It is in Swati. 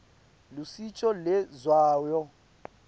lushintjo lendzawo